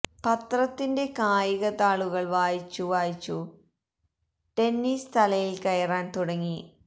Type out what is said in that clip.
പത്രത്തിന്റെ കായിക താളുകള് വായിച്ചു വായിച്ചു ടെന്നീസ് തലയില് കയറാന് തുടങ്ങി